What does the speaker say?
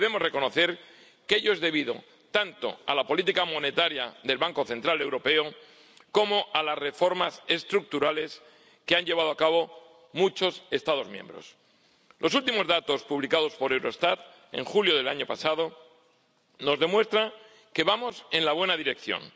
Y debemos reconocer que ello es debido tanto a la política monetaria del Banco Central Europeo como a las reformas estructurales que han llevado a cabo muchos Estados miembros. Los últimos datos publicados por Eurostat, en julio del año pasado, nos demuestran que vamos en la buena dirección.